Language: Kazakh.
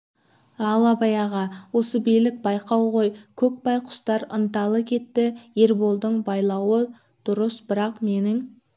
ал абай аға осы билік байлау ғой көкбай құстар ынталы кетті ерболдың байлауы дұрыс бірақ менің